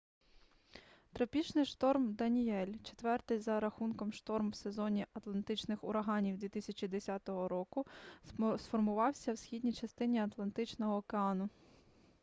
тропічний шторм даніель четвертий за рахунком шторм в сезоні атлантичних ураганів 2010 року сформувався в східній частині атлантичного океану